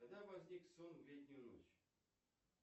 когда возник сон в летнюю ночь